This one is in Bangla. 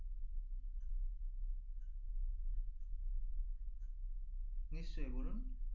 নিশ্চই বলুন